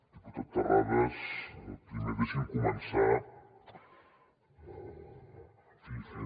diputat terrades primer deixi’m començar en fi fent